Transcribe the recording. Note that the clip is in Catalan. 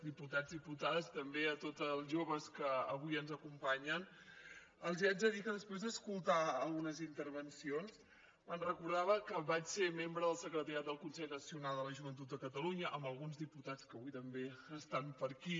diputats diputades també a tots els joves que avui ens acompanyen els haig de dir que després d’escoltar algunes intervencions em recordava que vaig ser membre del secretariat del consell nacional de la joventut de catalunya amb alguns diputats que avui també estan per aquí